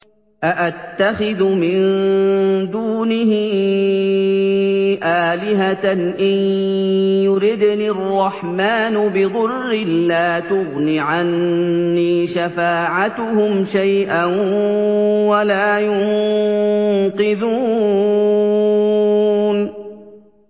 أَأَتَّخِذُ مِن دُونِهِ آلِهَةً إِن يُرِدْنِ الرَّحْمَٰنُ بِضُرٍّ لَّا تُغْنِ عَنِّي شَفَاعَتُهُمْ شَيْئًا وَلَا يُنقِذُونِ